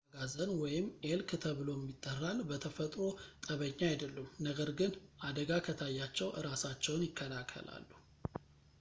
አጋዘን ኤልክ ተብሎም ይጠራል በተፈጥሮ ጠበኛ አይደሉም፣ ነገር ግን አደጋ ከታያቸው እራሳቸውን ይከላከላሉ